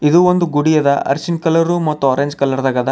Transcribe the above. ಇದು ಒಂದು ಗುಡಿಯದ ಅರಿಶಿನ ಕಲರ್ ಮತ್ತು ಆರೆಂಜ್ ಕಲರ ದಾಗ ಅದ.